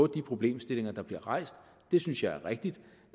de problemstillinger der bliver rejst det synes jeg er rigtigt